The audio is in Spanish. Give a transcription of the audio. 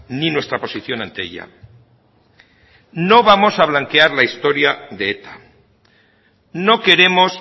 ni nuestra posición ante ella no vamos a blanquear la historia de eta no queremos